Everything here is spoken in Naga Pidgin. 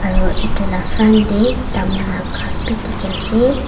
aru yete lah front teh tamul lah ghass bi dikhi ase.